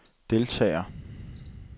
deltager